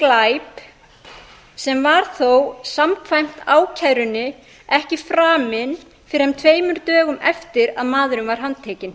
glæp sem var þó samkvæmt ákærunni ekki framinn fyrr en tveimur dögum eftir að maðurinn var handtekinn